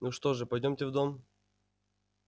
ну что же пойдёмте в дом